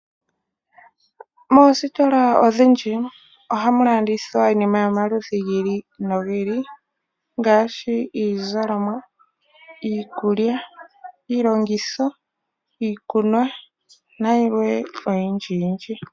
Moositola odhindji ohamu landithwa iinima yomaludhi gi ili nogi ili ngaashi iizalomwa, iikulya, iilongitho ,iikunwa nayilwe oyindji yindji.